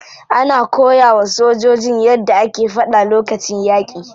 Ana koyawa sojojin yadda ake fada lokacin yaki.